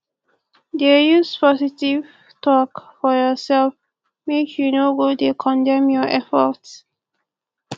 dey use positive tok for urself mek yu no go dey condemn yur effort